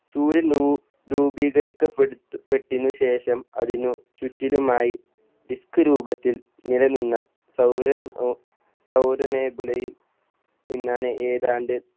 സൂര്യൻ രൂ രൂപീകരിക്കപ്പെടുത്ത പെട്ടിനു ശേഷം അതിനു ചുറ്റിലുമായി disk രൂപത്തിൽ നിലനിന്ന സൗരൻ ഓ സൗരനേബുലയിൽ നിന്നാണ് ഏതാണ്ട്